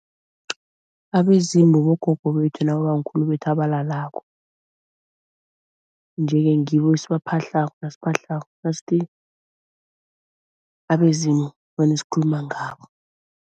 Abezimu bogogo bethu nabobamkhulu bethu abalalako, nje-ke ngibo esibaphahlako nasiphahlako. Nasithi abezimu vane sikhuluma ngabo.